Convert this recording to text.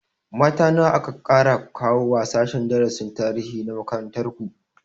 Mata nawa aka ƙara kawowa sashen darasin tarihi na makarantar ku?